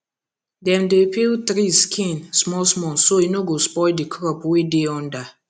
dem dey peel tree skin small small so e no go spoil the crop wey dey under